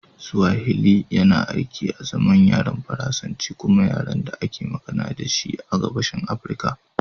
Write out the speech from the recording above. Swahili yana aiki azaman yaren Faransanci kuma yaren da ake magana da shi a Gabashin Afirka